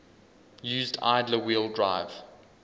used idler wheel drive